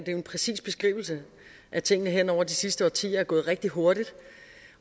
en præcis beskrivelse at tingene hen over de sidste årtier er gået rigtig hurtigt